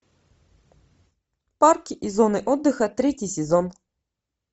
парки и зоны отдыха третий сезон